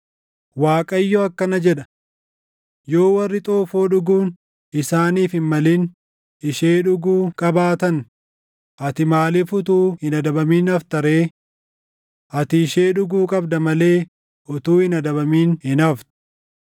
Waaqayyo akkana jedha: “Yoo warri xoofoo dhuguun isaaniif hin malin ishee dhuguu qabaatan, ati maaliif utuu hin adabamin hafta ree? Ati ishee dhuguu qabda malee utuu hin adabamin hin haftu.